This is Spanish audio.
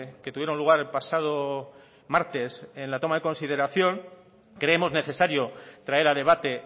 que tuvieron lugar el pasado martes en la toma de consideración creemos necesario traer a debate